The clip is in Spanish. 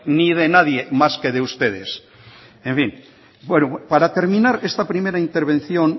ni de nadie más que de ustedes en fin para terminar esta primera intervención